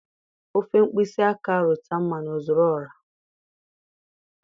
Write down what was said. Ofu mkpịsị aka rụta mmanụ ọ zuru ọha.